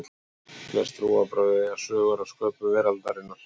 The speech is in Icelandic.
Flest trúarbrögð eiga sögur af sköpun veraldarinnar.